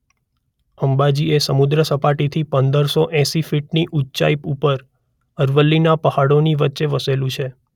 અંબાજી એ સમુદ્ર સપાટીથી પંદર સો એંસી ફીટની ઊંચાઇ ઉપર અરવલ્લીના પહાડોની વચ્ચે વસેલું છે.